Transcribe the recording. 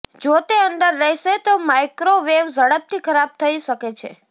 જો તે અંદર રહેશે તો માઇક્રોવેવ ઝડપથી ખરાબ થઇ શકે છે